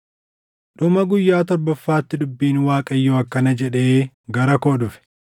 Dhuma guyyaa torbaffaatti dubbiin Waaqayyoo akkana jedhee gara koo dhufe;